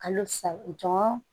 Kalo saba jɔn